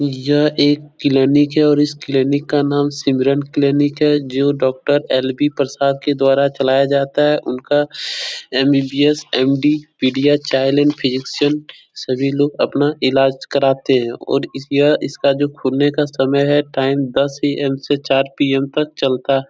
यह एक क्लिनिक है और इस क्लिनिक का नाम सिमरन क्लिनिक है जो डॉक्टर एल.बी. प्रसाद के द्वारा चलाया जाता है । उनका MBBS. MD. Pedia child in physician सभी लोग अपना ईलाज कराते हैं और यह इसका जो खुलने का समय है टाइम दस ए.एम. से चार पी.एम. तक चलता --